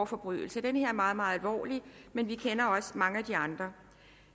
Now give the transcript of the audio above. forbrydelser den her er meget meget alvorlig men vi kender også til mange af de andre